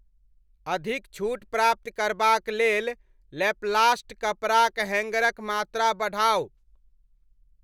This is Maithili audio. अधिक छूट प्राप्त करबाक लेल लैपलास्ट कपड़ाक हैंगरक मात्रा बढ़ाउ।